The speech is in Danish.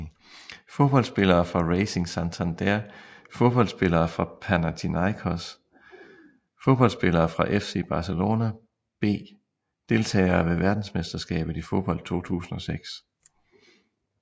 Fodboldspillere fra Racing Santander Fodboldspillere fra Panathinaikos Fodboldspillere fra FC Barcelona B Deltagere ved verdensmesterskabet i fodbold 2006